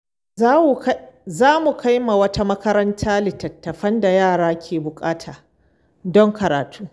Za mu kai wa wata makaranta littattafan da yara ke buƙata don karatu.